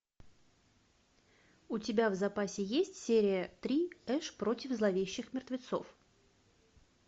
у тебя в запасе есть серия три эш против зловещих мертвецов